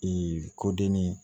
Ee kodenni